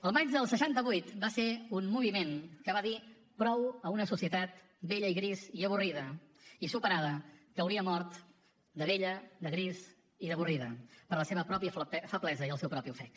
el maig del seixanta vuit va ser un moviment que va dir prou a una societat vella i gris i avorrida i superada que hauria mort de vella de gris i d’avorrida per la seva pròpia feblesa i el seu propi ofec